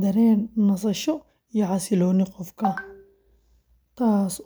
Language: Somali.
dareen nasasho iyo xasillooni qofka, taasoo sabab u noqota.